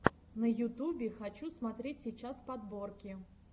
на ютубе хочу смотреть сейчас подборки